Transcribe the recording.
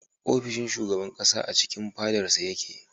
Ofishin shugaban ƙasa a cikin fadarsa yake.